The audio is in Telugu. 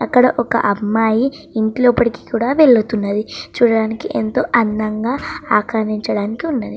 అక్కడ ఒక అమ్మాయి ఇంటి లోపలికి కూడా వెళుతుంది చూడడానికి ఎంతో అందంగా నుంచోడానికి ఉన్నది.